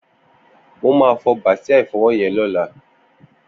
Mó mà fọ bàsiá ifọwọ yèn lọ̀lá